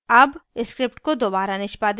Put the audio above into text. अब script को दोबारा निष्पादित करते हैं